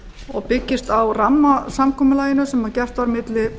og byggist á rammasamkomulaginu sem gert var milli